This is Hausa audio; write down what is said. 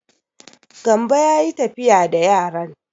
Gambo ya yi tafiya da yaran.